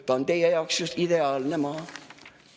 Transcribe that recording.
Ta on teie jaoks just ideaalne maa.